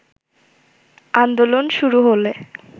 আন্দোলন শুরু হলে